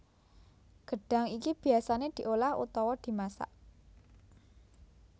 Gedhang iki biyasane diolah utawa dimasak